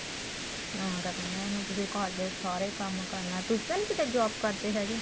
ਹਾਂ ਕਰਦੇ ਆ ਹੁਣ ਤੁਸੀਂ ਘਰ ਦੇ ਸਾਰੇ ਕੰਮ ਕਰਨਾ ਤੁਸੀਂ ਤਾਂ ਨਹੀਂ ਕਿੱਥੇ job ਕਰਦੇ ਹੈਗੇ